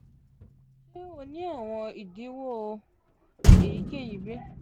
ṣe o ni awọn idiwọ eyikeyi bi?